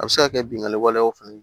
A bɛ se ka kɛ binkani walew fana ye